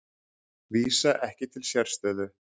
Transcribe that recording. Vísa ekki til sérstöðu